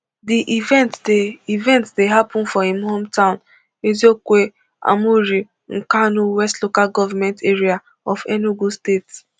di event dey event dey happun for im hometown eziokwe amuri nkanu west local government area of enugu state